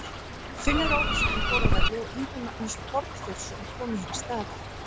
Finnur Ólafsson fór af velli og Yngvi Magnús Borgþórsson kom í hans stað.